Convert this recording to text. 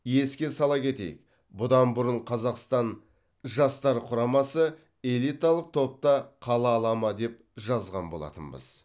еске сала кетейік бұдан бұрын қазақстан жастар құрамасы элиталық топта қала ала ма деп жазған болатынбыз